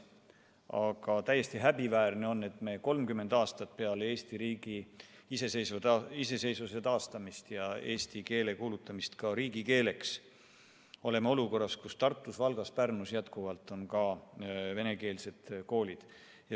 Aga on täiesti häbiväärne, et me 30 aastat peale Eesti riigi iseseisvuse taastamist ja eesti keele riigikeeleks kuulutamist oleme olukorras, kus ka Tartus, Valgas ja Pärnus tegutsevad endiselt venekeelsed koolid.